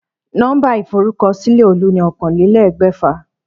Nó̩mbà ìforúkosílè̩ Olú ni oókanlélé̩gbè̩fà